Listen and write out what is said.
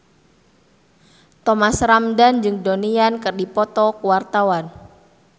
Thomas Ramdhan jeung Donnie Yan keur dipoto ku wartawan